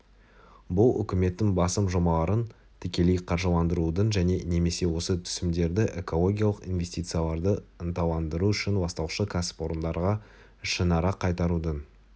бұл үкіметтің басым жобаларын тікелей қаржыландырудың және немесе осы түсімдерді экологиялық инвестицияларды ынталандыру үшін ластаушы кәсіпорындарға ішінара қайтарудың